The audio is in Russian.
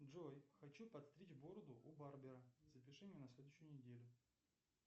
джой хочу подстричь бороду у барбера запиши меня на следующую неделю